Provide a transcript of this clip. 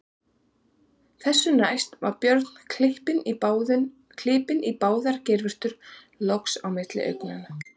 Þessu næst var Björn klipinn í báðar geirvörtur og loks á milli augnanna.